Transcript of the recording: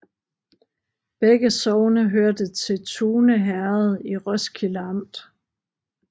Begge sogne hørte til Tune Herred i Roskilde Amt